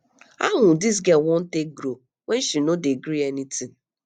how um dis girl wan take grow when she no dey gree any tin